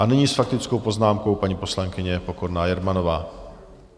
A nyní s faktickou poznámkou paní poslankyně Pokorná Jermanová.